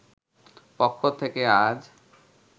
পক্ষ থেকে আজ